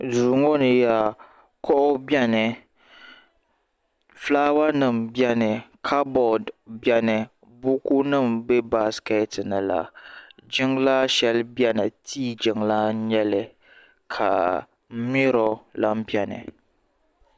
duu ŋɔ ni kuɣu biɛni fulaawa nim biɛni kabood biɛni buku nim n bɛ baskɛt ni la jiŋlaa shɛli biɛni tii jiŋlaa n nyɛli ka miro lahi biɛni